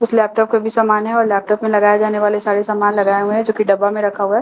उस लैपटॉप का भी सामान है व लगाए जाने वाले सारे सामान लगाए हुए हैं जो की डब्बा में रखा हुआ है।